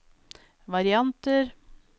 varianter